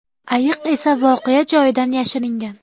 Ayiq esa voqea joyidan yashiringan.